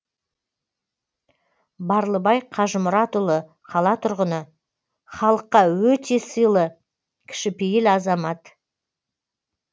барлыбай қажымұратұлы қала тұрғыны халыққа өте сыйлы кішіпейіл азамат